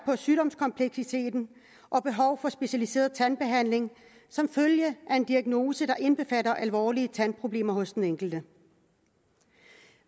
sygdomskompleksiteten og behovet for specialiseret tandbehandling som følge af en diagnose der indbefatter alvorlige tandproblemer hos den enkelte